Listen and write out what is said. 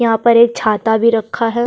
यहाँ पर एक छाता भी रख है।